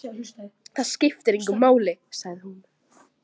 Það skiptir engu máli, sagði hún.